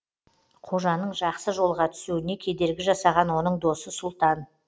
қожаның жақсы жолға түсуіне кедергі жасаған оның досы сұлтан